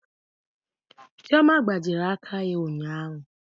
Chioma gbajiri aka ya ụnyaahụ.